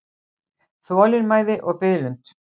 Þolinmæði og biðlund.